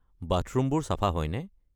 বাথৰুমবোৰ চাফা হয়নে?